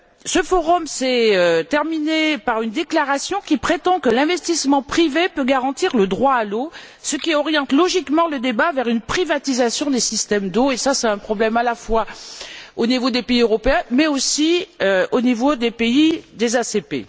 Ce forum s'est terminé par une déclaration qui prétend que l'investissement privé peut garantir le droit à l'eau, ce qui oriente logiquement le débat vers une privatisation des systèmes d'eau. C'est un problème à la fois au niveau des pays européens et au niveau des pays ACP.